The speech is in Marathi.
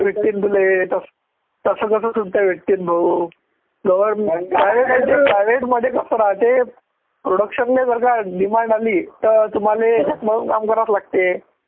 भेटतीन तुले, तसं तसं कसं सुट्ट्या भेटतीन भाऊ जोवर private private मध्ये फक्त राहते production ने जर का demand आली तर तुम्हाले झक मारून काम करावेच लागते.